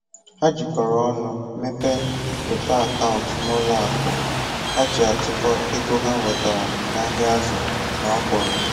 Ha jikọrọ ọnụ mepee otu akaụntụ n'ụlọ akụ ha ji atụkọ ego ha nwetara n'ahịa azụ na ọkwụrụ